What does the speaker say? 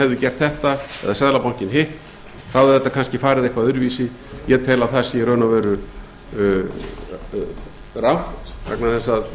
hefði gert þetta eða seðlabankinn hitt hefði þetta kannski farið eitthvað öðruvísi ég tel að það sé í raun og veru rangt vegna þess að